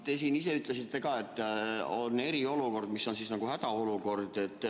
Te siin ise ütlesite ka, et on eriolukord, mis on siis nagu hädaolukord.